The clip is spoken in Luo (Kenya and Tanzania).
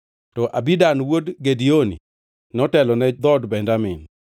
to Abidan wuod Gideoni notelo ne dhood Benjamin.